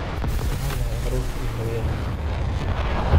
Waxaan nahay caruurtii hooyada.